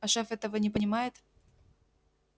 а шеф этого не понимает